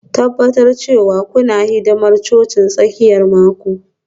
Tabbatar cewa kuna hidimar cocin tsakiyar mako